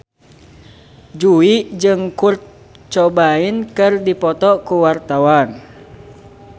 Jui jeung Kurt Cobain keur dipoto ku wartawan